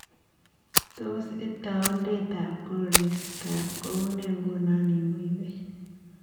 Tos itaundetab koristob kounee nguno eng moiben